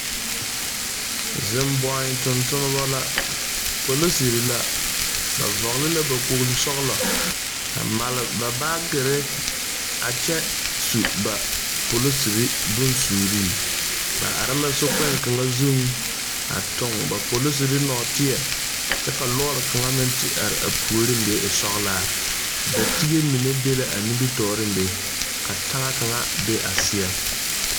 Zeŋ boi tontonba ba la, polisirii la ba vɔgeli la ba kpol sɔglɔ a mare ba baagere a kyɛ su polisirii bonsuuri, ba are la sokpoŋ kaŋa zuŋ a toŋ ba polisirii nɔtɛɛ, kyɛ ka lɔɔre kaŋa te are a puoriŋ be e sɔglaa, datiige mine be la a nimitɔreŋ be ka taŋa kaŋa be a seɛŋ.